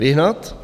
Vyhnat?